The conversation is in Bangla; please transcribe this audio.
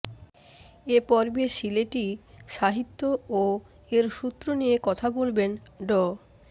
এ পর্বে সিলেটী সাহিত্য ও এর সূত্র নিয়ে কথা বলবেন ড